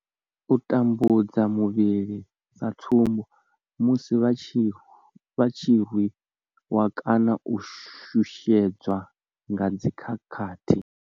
U tambudzwa muvhili sa tsumbo, musi vha tshi rwi wa kana u shushedzwa nga dzi khakhathi.